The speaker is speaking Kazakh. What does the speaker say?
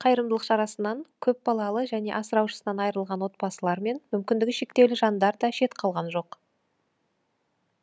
қайырымдылық шарасынан көпбалалы және асыраушысынан айырылған отбасылар мен мүмкіндігі шектеулі жандар да шет қалған жоқ